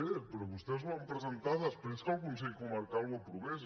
bé però vostès ho van presentar després que el consell comarcal ho aprovés